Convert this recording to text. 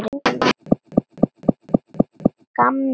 Bara að gamni.